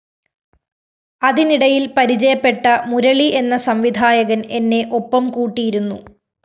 അതിനിടയില്‍ പരിചയപ്പെട്ട മുരളി എന്ന സംവിധായകന്‍ എന്നെ ഒപ്പം കൂട്ടിയിരുന്നു